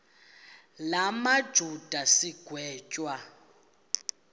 la majuda sigwetywa